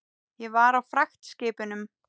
Ég var á fragtskipum.